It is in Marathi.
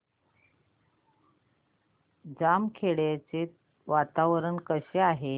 बामखेडा चे वातावरण कसे आहे